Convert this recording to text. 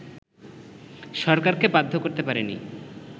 সরকারকে বাধ্য করতে পারেনি